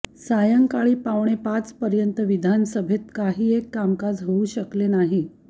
सायंकाळी पावणे पाचपर्यंत विधानसभेत काहीएक कामकाज होऊ शकले नाही